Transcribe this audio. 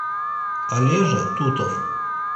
олежа тутов